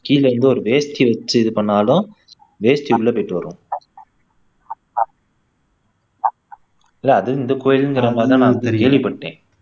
கீழ இருந்து ஒரு வேஷ்டி வச்சு இது பண்ணினாலும் வேஷ்டி உள்ள போயிட்டு வரும் இல்ல அது இந்த கோயிலுங்கற மாதிரி தான் நான் கேள்விப்பட்டேன்